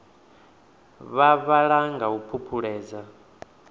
vha vhala nga u phuphuledza